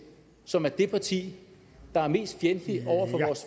som er det parti der er mest fjendtligt over